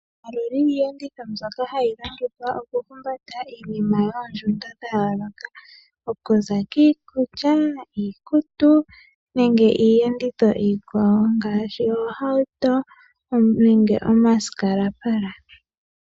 Omaludhi giiyenditho mbyoka hayi longithwa oku humbata iinima yoondjundo dha yooloka, okuza kiikulya, iikutu nenge iiyenditho iikawo ngaashi oohauto nenge omasikalapala.